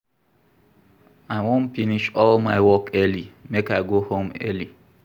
I wan finish all my work early make I go home early.